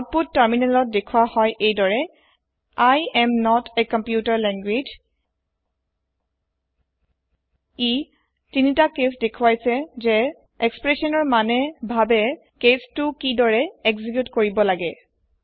output তাৰমিনেলত দেখুৱা হয় এই দৰে I am not a computer language এই ৩ কেছে দেখাইছে যেঃ এক্চপ্ৰেছনৰ মানে ভাবে কেচ তো কি দৰে এক্সিকিউত কৰিব লাগে